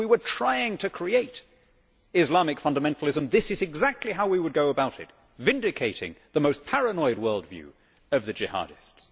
If we were trying to create Islamic fundamentalism, this is exactly how we would go about it by vindicating the most paranoid world view of the Jihadists.